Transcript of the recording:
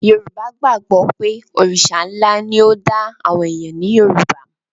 Yorùbá gbàgbọ́ pé Òrìṣà ńlá ni ó dá àwọn èèyàn ní Yorùbá